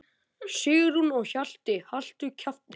Sigrún og Hjalti.